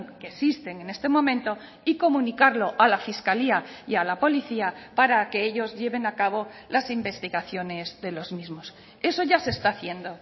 que existen en este momento y comunicarlo a la fiscalía y a la policía para que ellos lleven a cabo las investigaciones de los mismos eso ya se está haciendo